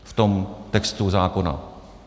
V tom textu zákona?